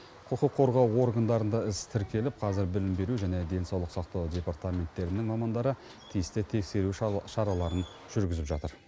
құқық қорғау органдарында іс тіркеліп қазір білім беру және денсаулық сақтау департаменттерінің мамандары тиісті тексеру шараларын жүргізіп жатыр